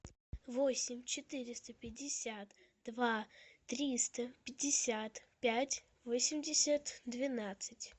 восемь четыреста пятьдесят два триста пятьдесят пять восемьдесят двенадцать